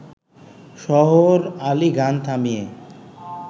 শহর আলি গান থামিয়ে